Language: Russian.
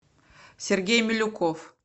сергей милюков